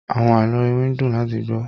Àwọn àlọ́ iwin ń dùn láti gbọ́.